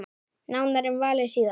Nánar um valið síðar.